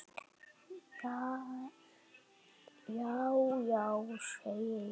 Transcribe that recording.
Já já, segi ég.